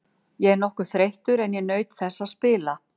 Ég er nokkuð þreyttur en ég naut þess að spila.